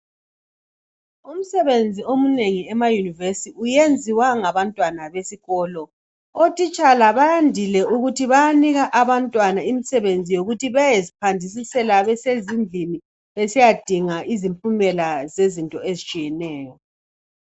Umsebenzi omunengi emayunivesi uyenziwa ngabantwana besikolo, otitshala bayandile ukuthi bayanika abantwana imisebenzi yokuthi beyezichasisela besezindlini beyedinga izimpumela zezinto ezitshiyeneyo.